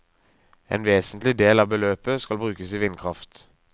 En vesentlig del av beløpet skal brukes til vindkraft.